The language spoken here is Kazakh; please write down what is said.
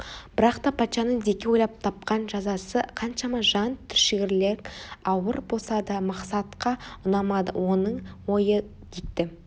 бірақ та патшаның дикке ойлап тапқан жазасы қаншама жан түршігерлік ауыр болса да мақсатқа ұнамады оның ойы дикті